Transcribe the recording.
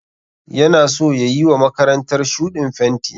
Yana so ya yiwa makarantar shuɗin fenti.